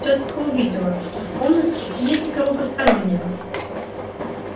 тётка увидела что в комнатке нет никого постороннего